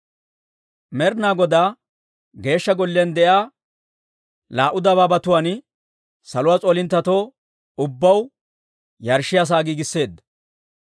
Med'ina Godaa Geeshsha Golliyaan de'iyaa laa"u dabaabatuwaan saluwaa s'oolinttetoo ubbaw yarshshiyaa sa'aa giigisseedda.